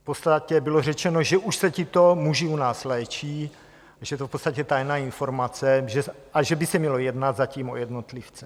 V podstatě bylo řečeno, že už se tito muži u nás léčí, že je to v podstatě tajná informace a že by se mělo jednat zatím o jednotlivce.